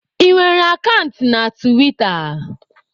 Ị nwere akant na tiwita?